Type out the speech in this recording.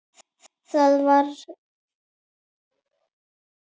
Já, ég reyni það.